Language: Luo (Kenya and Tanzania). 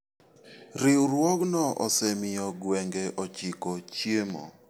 Riwruogno osemiyo gwenge ochiko chiemo.